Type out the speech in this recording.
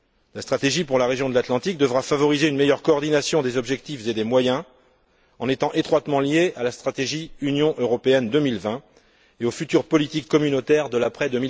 La stratégie pour la région de l'Atlantique devra favoriser une meilleure coordination des objectifs et des moyens en étant étroitement liée à la stratégie Union européenne 2020 et aux futures politiques communautaires de l'après